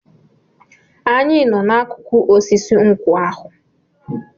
Anyị nọ n'akụkụ osisi nkwụ ahụ.